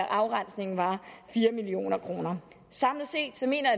afrensningen var fire million kroner samlet set mener